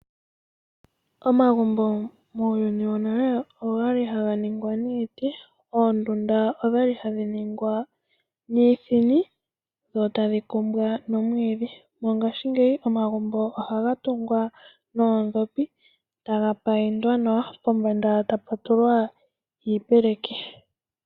Omagumbo muuyuni wonale ogali haga ningwa niiti, oondunda odhali hadhi ningwa niithini dho tadhi kumbwa nomwiidhi. Mongaashingeyi omagumbo ohaga tungwa noondhopi taga payindwa nawa pombanda taputulwa iipeleki.